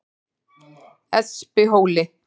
Espihóli